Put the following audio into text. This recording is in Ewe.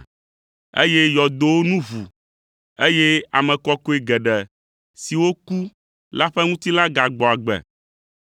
eye yɔdowo nu ʋu, eye ame kɔkɔe geɖe siwo ku la ƒe ŋutilã gagbɔ agbe.